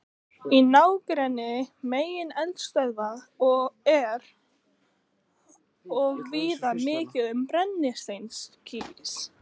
Í nágrenni megineldstöðva er og víða mikið um brennisteinskís.